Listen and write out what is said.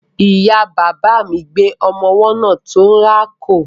Ìya bàbà mi gbé ọmọ ọwọ́ náà tó ń rákò.